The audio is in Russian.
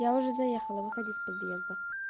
я уже заехала выходи с подъезда